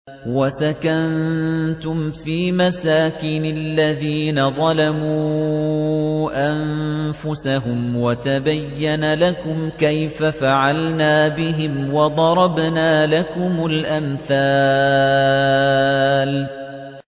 وَسَكَنتُمْ فِي مَسَاكِنِ الَّذِينَ ظَلَمُوا أَنفُسَهُمْ وَتَبَيَّنَ لَكُمْ كَيْفَ فَعَلْنَا بِهِمْ وَضَرَبْنَا لَكُمُ الْأَمْثَالَ